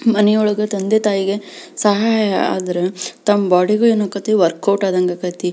ಮನೆಯೊಳಗೇ ತಂದೆ ತಾಯಿಗೆ ಸಹಾಯ ಅದ್ರ ತಮ್ ಬೊಡಿ ಗೂ ಏನ್ ಆಗ್ತಾಯ್ತ್ನಿ ವರ್ಕ್ ಔಟ್ ಆದಂಗ್ ಆಗತೈತಿ.